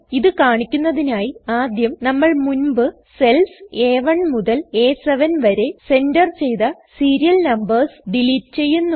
ഇത് കാണിക്കുന്നതിനായി ആദ്യം നമ്മൾ മുൻപ് സെൽസ് അ1 മുതൽ അ7 വരെ സെൻറർ ചെയ്ത സീരിയൽ നാമ്പേർസ് ഡിലീറ്റ് ചെയ്യുന്നു